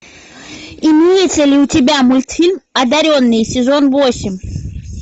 имеется ли у тебя мультфильм одаренные сезон восемь